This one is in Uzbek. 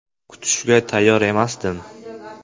Kutishga tayyor emasdim.